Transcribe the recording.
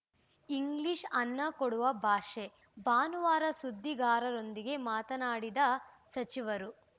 English ಅನ್ನ ಕೊಡುವ ಭಾಷೆ ಭಾನುವಾರ ಸುದ್ದಿಗಾರರೊಂದಿಗೆ ಮಾತನಾಡಿದ ಸಚಿವರು